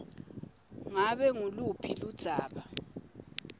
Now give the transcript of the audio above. ngabe nguluphi ludzaba